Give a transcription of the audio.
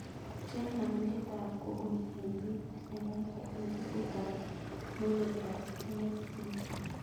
Cheng' alindetab google en beit negaigai en tuguk ab monoprice mxblue